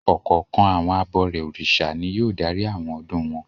Ọ̀kọ̀ọ̀kan àwọn abọrẹ̀ Orìṣà ni yóò darí àwọn ọdún wọn.